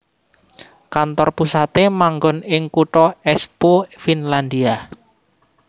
Kantor pusate manggon ing kutha Espoo Finlandia